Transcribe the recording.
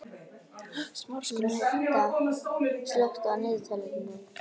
Jenetta, slökktu á niðurteljaranum.